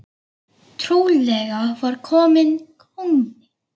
Trúlega var kominn kúnni.